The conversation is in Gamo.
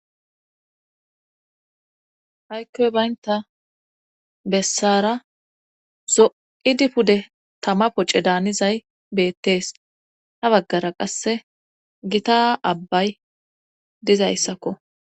Haykkoy baynta bessara zo7idi pude tama pocce daanizay beettees ha baggara qasse gita abbay dizayssakko